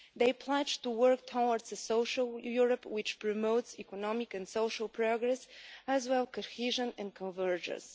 They pledged to work towards a social Europe which promotes economic and social progress as well as cohesion and convergence.